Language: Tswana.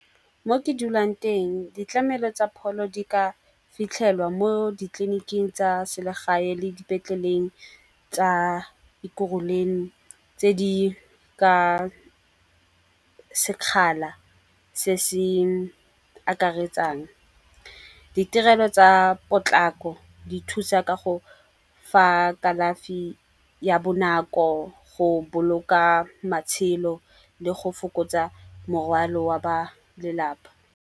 Mo ke dulang teng ditlamelo tsa pholo di ka fitlhelwa mo ditleliniking tsa selegae le dipetleleng tsa kuruleng tse di ka sekgala se se akaretsang. Ditirelo tsa potlako di thusa ka go fa kalafi ya bonako, go boloka matshelo le go fokotsa morwalo wa ba lelapa.